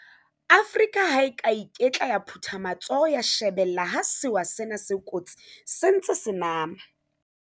Afrika ha e a ka ya iketla ya phutha matsoho ya shebella ha sewa sena se kotsi se ntse se nama.